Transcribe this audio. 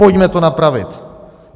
Pojďme to napravit.